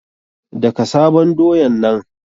Daka sabon doyan nan!